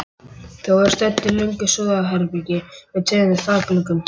Þau voru stödd í löngu súðarherbergi með tveimur þakgluggum.